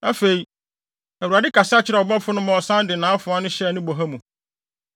Afei, Awurade kasa kyerɛɛ ɔbɔfo no ma ɔsan de nʼafoa no hyɛɛ ne boha mu.